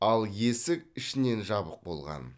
ал есік ішінен жабық болған